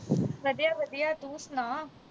ਵਧੀਆ ਵਧੀਆ ਤੂੰ ਸੁਣਾ